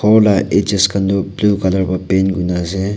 kor la edges kan tho blue colour vra paint kurina ase.